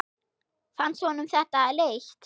Fannst honum þetta leitt?